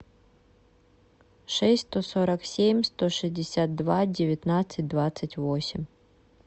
шесть сто сорок семь сто шестьдесят два девятнадцать двадцать восемь